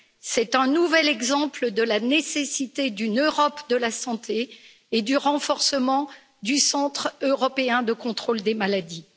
C'est un nouvel exemple de la nécessité d'une Europe de la santé et du renforcement du Centre européen de contrôle des maladies.